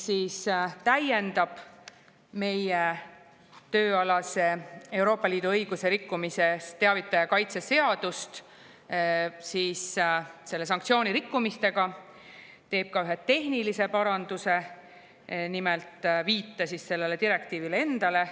See täiendab meie tööalasest Euroopa Liidu õiguse rikkumise teavitaja kaitse seadust sanktsioonirikkumiste osaga ning teeb ka ühe tehnilise paranduse, nimelt viite direktiivile endale.